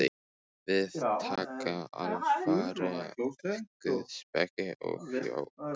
Við taka alfarið guðspeki og jóga.